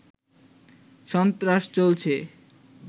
সন্ত্রাস চলছে